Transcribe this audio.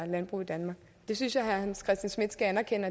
landbrug i danmark det synes jeg herre hans christian schmidt skal anerkende